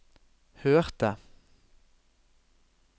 hørte